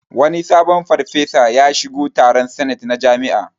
Wani sabon farfesa ya shigo taron sanet na jami'a